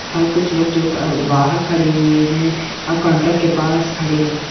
--और कुछ लोग जो अ बाहर खड़े हुए है और काउंटर के पास खड़े है।